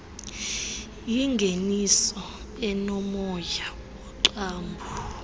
yingeniso enomoya woqambo